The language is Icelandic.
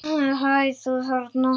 Hæ, þú þarna!